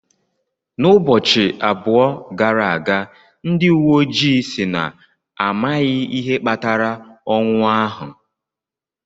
N'ubọchị abụọ gara aga, ndị uwe ojii si na amaghị ihe kpatara ọnwụ ahụ.